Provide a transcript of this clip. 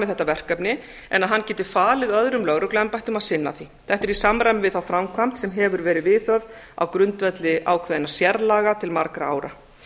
þetta verkefni en að hann geti falið öðrum lögregluembættum að sinna því þetta er í samræmi við þá framkvæmd sem hefur verið viðhöfð á grundvelli ákveðinna sérlaga til margra ára